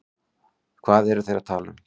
Hvað eru þeir að tala um?